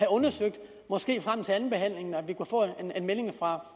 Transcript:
undersøgt måske frem til andenbehandlingen